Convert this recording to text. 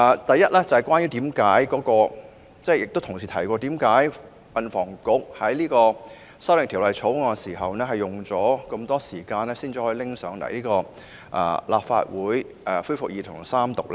第一，正如有議員剛才質疑，為何運輸及房屋局就《條例草案》所提的修訂需花上長時間，才能夠提交立法會恢復二讀及三讀呢？